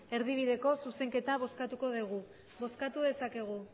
erdibideko zuzenketa bozkatuko dugu bozkatu dezakegu